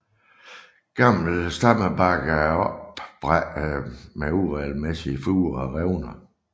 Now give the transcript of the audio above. Gammel stammebark er opsprækkende med uregelmæssige furer og revner